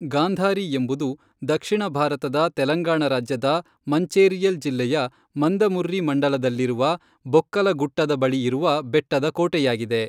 ಗಾಂಧಾರಿ ಎಂಬುದು ದಕ್ಷಿಣ ಭಾರತದ ತೆಲಂಗಾಣ ರಾಜ್ಯದ ಮಂಚೇರಿಯಲ್ ಜಿಲ್ಲೆಯ ಮಂದಮರ್ರಿ ಮಂಡಲದಲ್ಲಿರುವ ಬೊಕ್ಕಲಗುಟ್ಟದ ಬಳಿ ಇರುವ ಬೆಟ್ಟದ ಕೋಟೆಯಾಗಿದೆ.